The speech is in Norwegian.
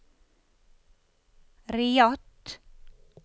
Riyadh